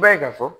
I b'a ye ka fɔ